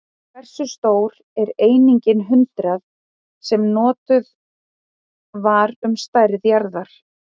Hversu stór er einingin hundrað, sem notuð var um stærð jarða?